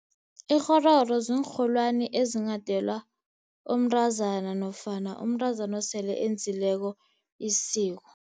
Ikghororo ziinrholwani ezinghadelwa umntazana nofana umntazana osele enzileko isiko.